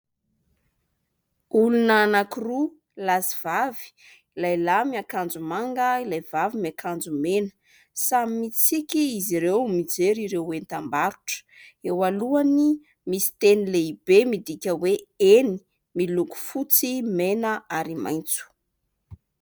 Olona anankiroa lahy sy vavy, lehilahy miakanjo manga, ilay vavy miakanjo mena. Samy mitsiky izy ireo mijery ireo entam-barotra. Eo alohany misy teny lehibe midika hoe "Eny" miloko fotsy, mena ary maitso.